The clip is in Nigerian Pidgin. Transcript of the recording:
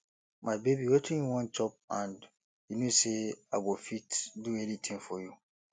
my baby wetin you wan chop and you no say i go fit do anything for you